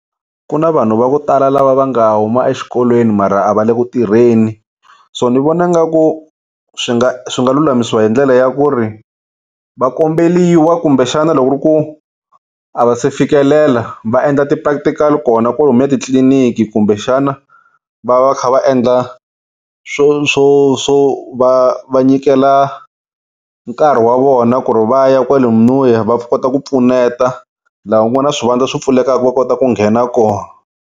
Ku na vanhu va ku tala lava va nga huma exikolweni mara a va le ku tirheni so ni vona nga ku swi nga swi nga lulamisiwa hi ndlela ya ku ri va komberiwa kumbe xana loko ku ri ku a va se fikelela va endla ti-practical kona kolomuya titliliniki kumbexana va va va kha va endla swo swo va va nyikela nkarhi wa vona ku ri va ya kwale noya va kota ku pfuneta la ku nga swivandla swo pfulekaka va kota ku nghena kona.